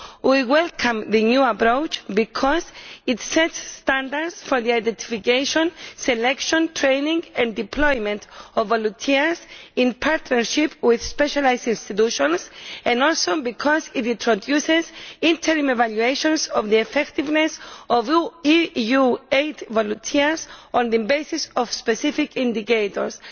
We welcome the new approach because it sets standards for the identification, selection, training and deployment of volunteers in partnership with specialised institutions, and also because it introduces interim evaluations of the effectiveness of EU aid volunteers on the basis of specific indicators.